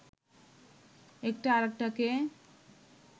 একটা আরেকটাকে